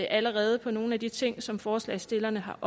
allerede på nogle af de ting som forslagsstillerne har